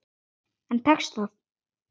En tekst það?